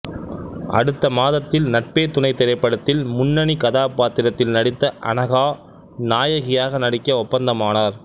அடுத்த மாதத்தில் நட்பே துணை திரைப்படத்தில் முன்னணி கதாபாத்திரத்தில் நடித்த அனகா நாயகியாக நடிக்க ஒப்பந்தமானார்